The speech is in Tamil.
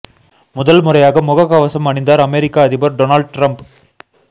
முதல் முறையாக முக கவசம் அணிந்தார் அமெரிக்கா அதிபர் டொனால்ட் டிரம்ப்